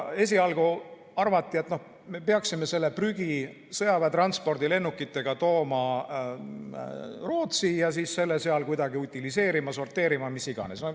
Esialgu arvati, et noh, peaks selle prügi sõjaväe transpordilennukitega tooma Rootsi ja selle seal kuidagi utiliseerima, sorteerima, mis iganes.